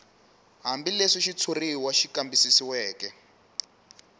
hambileswi xitshuriwa xi kambisisiweke